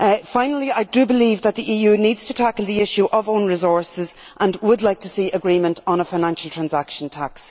Finally, I do believe that the EU needs to tackle the issue of own resources, and I would like to see agreement on a financial transaction tax.